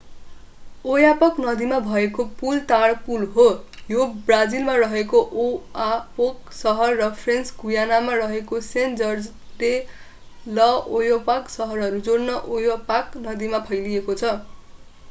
ओयापक नदीमा भएको पुल तार पुल हो यो ब्राजिलमा रहेको ओआपोक सहर र फ्रेन्च गुयानामा रहेको सेन्ट-जर्जस डे ल'ओयापोक सहरहरू जोड्न ओयापक नदीमा फैलिएको छ